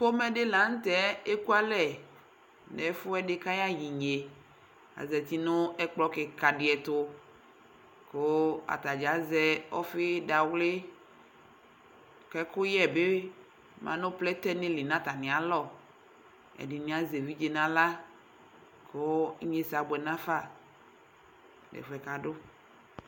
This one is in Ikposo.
Ƒomedɩ la nʋtɛ ekualɛ n'ɛfʋɛdɩ kaya y'inye Azati n'ɛkplɔ kɩka dɩɛtʋ , kʋ atanɩazɛ ɔfɩ dawlɩ , k'ɛkʋyɛ bɩ ma nʋ plɛtɛ nɩ li n'atamɩalɔ Ɛdɩnɩazɛ evidze n'aɣla kʋ inyesɛ abʋɛ n'afa n'ɛfʋɛ k'adʋ